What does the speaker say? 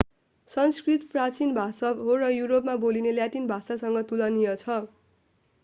संस्कृत प्राचिन भाषा हो र युरोपमा बोलिने ल्याटिन भाषासँग तुलनीय छ